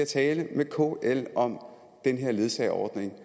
tale med kl om den her ledsageordning og